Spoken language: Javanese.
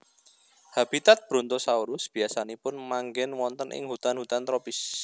Habitat Brontosaurus biasanipun manggen wonten ing hutan hutan tropis